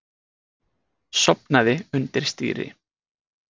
Sofnaði undir stýri